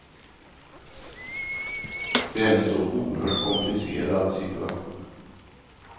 Det är en så oerhört komplicerad situation.